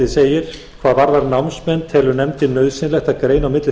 rennur út hvað varðar námsmenn telur nefndin nauðsynlegt að greina á milli